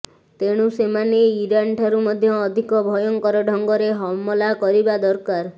ତେଣୁ ସେମାନେ ଇରାନ ଠାରୁ ମଧ୍ୟ ଅଧିକ ଭୟଙ୍କର ଢଙ୍ଗରେ ହମଲା କରିବା ଦରକାର